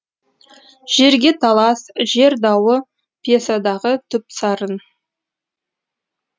жерге талас жер дауы пьесадағы түп сарын